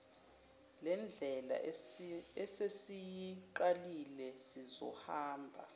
lendlela esesiyiqalile sizohamba